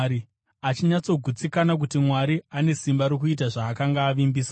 achinyatsogutsikana kuti Mwari ane simba rokuita zvaakanga avimbisa.